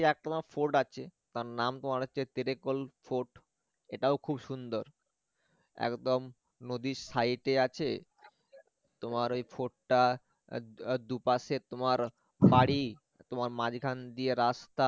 তোমার fort আছে তার নাম তোমার হচ্ছে tiracol fort এটাও খুব সুন্দর একদম নদীর side এ আছে তোমার এই fort টা আহ দুপাশে তোমার বাড়ি তোমার মাঝখান দিয়ে রাস্তা